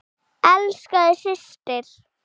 Elska þig, systir.